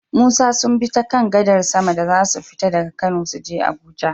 Musa sunbi ta kan gadar sama da zasu fita daka kano suje abuja